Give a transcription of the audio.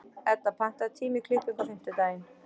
Edda, pantaðu tíma í klippingu á fimmtudaginn.